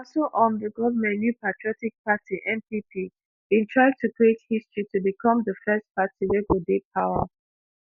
na so um di goment new patriotic party npp bin try to create history to become di first party wey go dey power